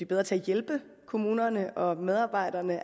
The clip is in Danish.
bedre til at hjælpe kommunerne og medarbejderne